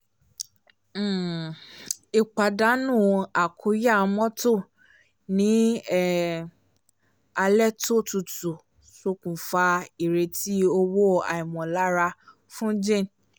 um ìpàdánù àkúnya mọ́tò ní um alẹ́ tó tutu ṣokùnfà ìrètí owó àìmọ̀lára fún jane